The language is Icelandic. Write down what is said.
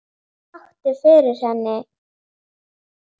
Hvað vakti fyrir henni?